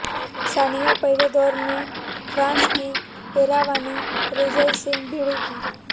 सानिया पहले दौर में फ्रांस की एरावाने रेजाई से भिड़ेंगी